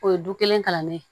O ye du kelen kalannen ye